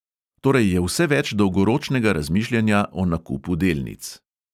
Torej je vse več dolgoročnega razmišljanja o nakupu delnic.